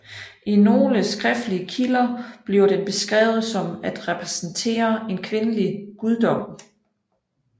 I nogle skriftlige kilder bliver den beskrevet som at repræsentere en kvindelig guddom